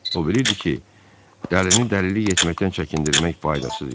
O bilirdi ki, dəlini dəlilik etməkdən çəkindirmək faydasız işdir.